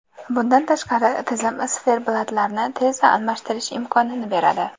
Bundan tashqari, tizim siferblatlarni tezda almashtirish imkonini beradi.